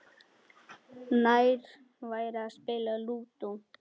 Nær væri að spila Lúdó.